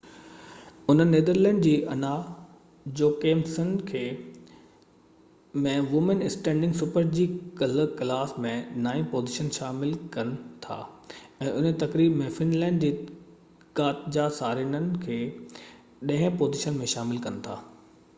انهن نيدرلينڊ جي Anna Jochemsen کي ڪلهہ super-g ۾ وومين اسٽيندگ ڪلاس ۾ نائين پوزيشن ۾ شامل ڪن ٿا ۽ انهيءِ تقريب ۾ فن لينڊ جي ڪاتجا سارينن کي ڏهين پوزيشن ۾ شامل ڪن ٿا